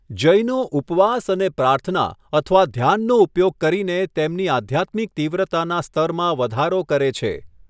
જૈનો ઉપવાસ અને પ્રાર્થના અથવા ધ્યાનનો ઉપયોગ કરીને તેમની આધ્યાત્મિક તીવ્રતાના સ્તરમાં વધારો કરે છે.